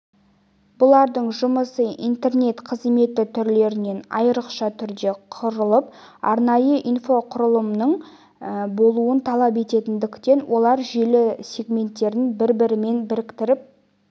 бұлардың жұмысы интернет қызметі түрлерінен айрықша түрде құрылып арнайы инфрақұрылымның болуын талап ететіндіктен олар желі сегменттерін бір-бірімен біріктіріп